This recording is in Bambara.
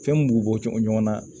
Fɛn min b'u bɔ ɲɔgɔn na